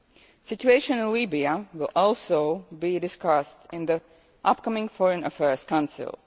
The situation in Libya will also be discussed in the upcoming Foreign Affairs